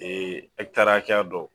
hakɛya dɔ